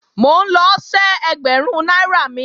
Mò ń lọ ṣẹ́ ẹgbẹ̀rún náírà mi